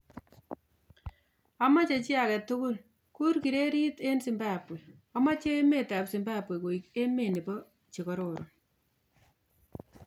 "Amache chi age tugul ku-ur kriketit ing Zimbabwe; amache emet ab Zimbabwe koek emet nebo chekororon"